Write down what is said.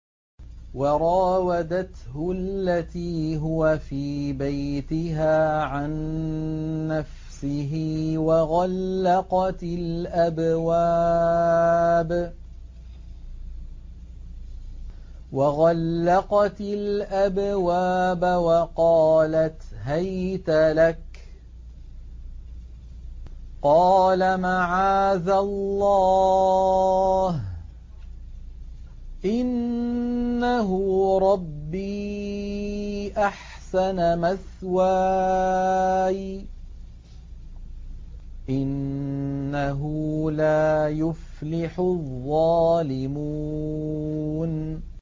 وَرَاوَدَتْهُ الَّتِي هُوَ فِي بَيْتِهَا عَن نَّفْسِهِ وَغَلَّقَتِ الْأَبْوَابَ وَقَالَتْ هَيْتَ لَكَ ۚ قَالَ مَعَاذَ اللَّهِ ۖ إِنَّهُ رَبِّي أَحْسَنَ مَثْوَايَ ۖ إِنَّهُ لَا يُفْلِحُ الظَّالِمُونَ